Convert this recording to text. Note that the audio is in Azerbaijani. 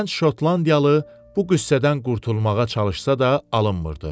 Gənc şotlandiyalı bu qüssədən qurtulmağa çalışsa da alınmırdı.